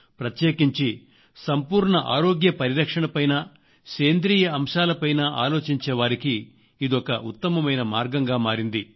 ప్రత్యేకించి సంపూర్ణ ఆరోగ్య పరిరక్షణపైనా సేంద్రియ అంశాల పైనా ఆలోచించే వారికి ఇదొక ఉత్తమమైన మార్గంగా మారింది